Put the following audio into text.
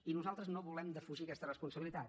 i nosaltres no volem defugir aquesta responsabilitat